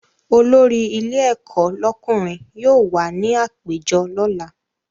Olórí ilé ẹ̀kọ́ lọ́kùnrin yóò wà ní àpéjọ lọ́la